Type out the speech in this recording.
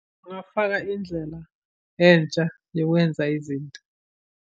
Ngingafaka indlela entsha yokwenza izinto.